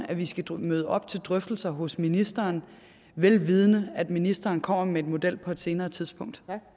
at vi skal møde op til drøftelser hos ministeren velvidende at ministeren kommer med en model på et senere tidspunkt